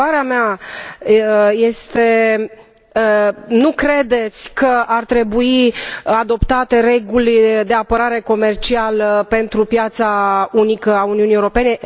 Întrebarea mea este nu credeți că ar trebui adoptate reguli de apărare comercială pentru piața unică a Uniunii Europene?